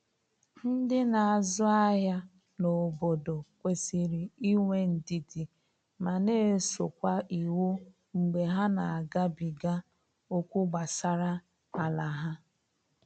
Ndi n'azụ ahịa na obodo kwesịrị inwe ndidi ma na eso kwa iwu mgbe ha na agabiga okwu gbasara ala ha.